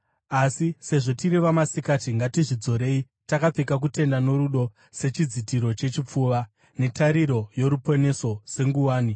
Asi sezvo tiri vamasikati, ngatizvidzorei, takapfeka kutenda norudo sechidzitiro chechipfuva, netariro yoruponeso senguwani.